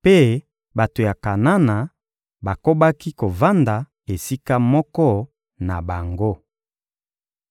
mpe bato ya Kanana bakobaki kovanda esika moko na bango.